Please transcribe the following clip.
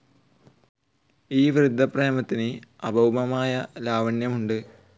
ഈ വൃദ്ധപ്രേമത്തിന് അഭൗമമായ ലാവണ്യമുണ്ട്.